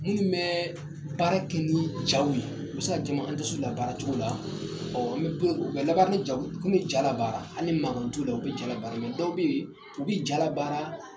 Minnu bɛ baara kɛ ni jaw ye bɛ se jama an tɛ s'u labaaracogo la ɔ an u bɛ laban ni jaw nu kun bi i ja labaara hali ni mankan t'u la u bɛ ja labaara dɔw bɛ yen u bɛ ja labaara